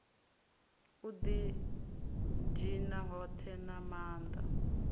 u didina hothe na maanda